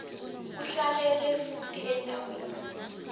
uhlalele futhi endaweni